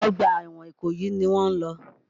Ọgbà ẹ̀wọ̀n Ìkòyí ni wọ́n ń lọ.